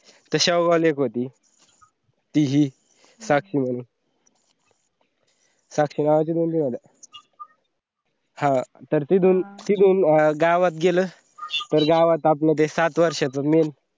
तर शेवगाव ला एक होती ती ही साक्षी म्हणून. साक्षी नावाचे दोन तीन होत्या. हा तर तिंधून, तिंधून गावात गेलं तर गावात आपलं ते सात वर्षाच main